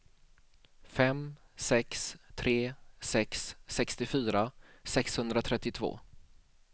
fem sex tre sex sextiofyra sexhundratrettiotvå